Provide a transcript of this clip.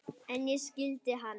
En ég skildi hana.